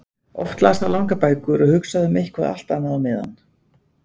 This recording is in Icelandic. Oft las hann langar bækur og hugsaði um eitthvað allt annað á meðan.